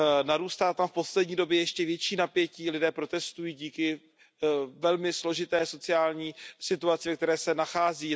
Narůstá tam v poslední době ještě větší napětí, lidé protestují díky velmi složité sociální situaci, ve které se nachází.